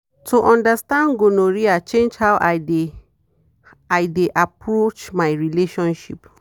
to understand gonorrhea change how i dey i dey approach my relationship.